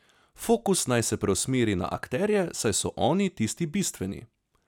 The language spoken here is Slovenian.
Fokus naj se preusmeri na akterje, saj so oni tisti bistveni.